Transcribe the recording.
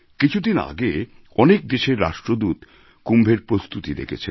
কিছুদিন আগে অনেক দেশের রাষ্ট্রদূত কুম্ভের প্রস্তুতি দেখেছেন